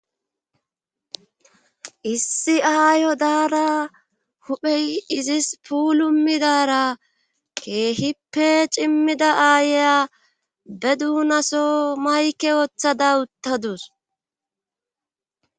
Issi aayo daara huphey izis puulu midara keehippe cimmida aayeya be duunaso mayke woththada uttadus.